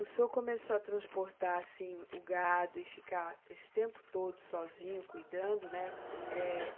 O senhor começou a transportar, assim, o gado e ficar esse tempo todo sozinho, cuidando, né? Eh